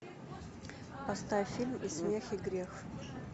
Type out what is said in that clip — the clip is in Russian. поставь фильм и смех и грех